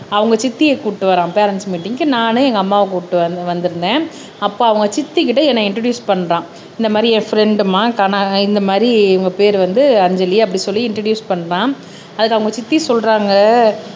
அவங்க சித்திய கூட்டிட்டு வரான் பேரண்ட்ஸ் மீட்டிங்க்கு நானு எங்க அம்மாவ கூட்டிட்டு வந்திருந்தேன் அப்போ அவங்க சித்தி கிட்ட என்னை இன்ட்ரொடியூஸ் பன்றான் இந்த மாதிரி என் ஃப்ரெண்ட் மா இந்த மாதிரி இவங்க பெயர் வந்து அஞ்சலி அப்படி சொல்லி இன்ட்ரொடியூஸ் பண்ணுறான் அதுக்கு அவங்க சித்தி சொல்றாங்க